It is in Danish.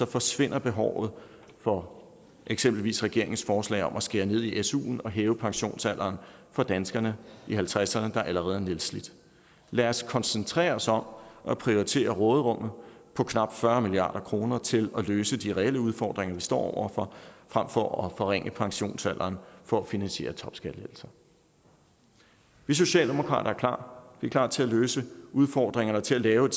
forsvinder behovet for eksempelvis regeringens forslag om at skære ned i suen og hæve pensionsalderen for danskerne i halvtredserne der allerede er nedslidte lad os koncentrere os om at prioritere råderummet på knap fyrre milliard kroner til at løse de reelle udfordringer vi står over for frem for at forringe pensionsalderen for at finansiere topskattelettelser vi socialdemokrater er klar til at løse udfordringer og til at lave en